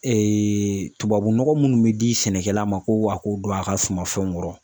Ee tubabu nɔgɔ munnu be di sɛnɛkɛla ma ko a k'o don a ka suma fɛnw kɔrɔ